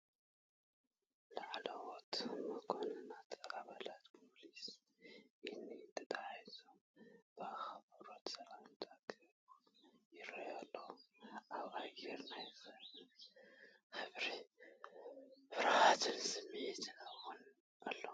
ላዕለዎት መኮንናትን ኣባላት ፖሊስን ኢድ ንኢድ ተተሓሒዞም ብኣኽብሮት ሰላምታ ክህቡ ይረኣዩ ኣለው። ኣብ ኣየር ናይ ክብርን ፍርሃትን ስምዒት እውን ኣሎ።